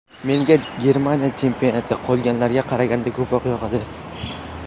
Menga Germaniya chempionati qolganlarga qaraganda ko‘proq yoqadi.